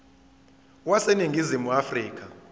wase ningizimu afrika